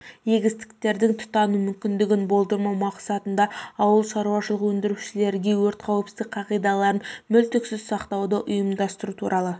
егістіктердің тұтану мүмкіндігін болдырмау мақсатында ауыл шаруашылық өндірушілерге өрт қауіпсіздік қағидаларын мүлтіксіз сақтауды ұйымдастыру туралы